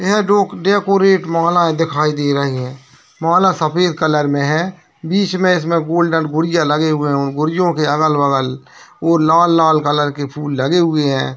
ये डोक डेकोरेट मालाएं दिखाई दे रही है माला सफेद कलर में है बीच में इसमें गोल्डन गुड़ियां लगे हुए है गुड़ियों के अलग-बगल वो लाल-लाल कलर के फूल लगे हुए है।